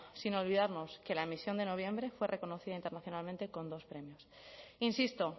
sin olvidarnos que la emisión de noviembre fue reconocida internacionalmente con dos premios insisto